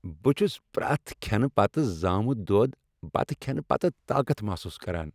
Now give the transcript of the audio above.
بہٕ چھس پریٚتھ كھینہٕ پتہٕ زامٗت دۄد بتہٕ کھینہٕ پتہٕ طاقت محسوس کران۔